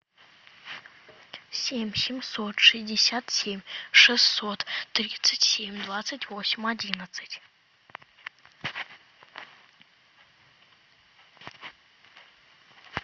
семь семьсот шестьдесят семь шестьсот тридцать семь двадцать восемь одиннадцать